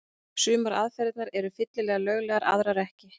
Sumar aðferðirnar eru fyllilega löglegar, aðrar ekki.